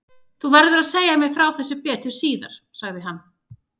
Þú verður að segja mér frá þessu betur síðar sagði hann.